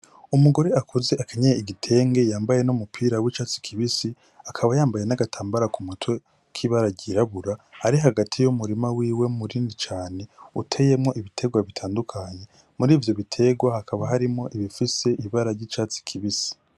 Umugore akuze akanyene igitenge yambaye no mupira w'icatsi kibisi akaba yambaye n'agatambara ku mutwe k'ibararyirabura ari hagati y'umurima wiwe muri ndi cane uteyemwo ibiterwa bitandukanyi muri ivyo bitegwa hakaba harimo ibifise ibara ry'icatsi kibisi.